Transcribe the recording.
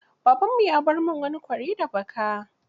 Babanmu ya bar min wani kwari da baka.